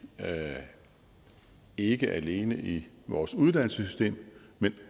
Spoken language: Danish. ikke alene i vores uddannelsessystem men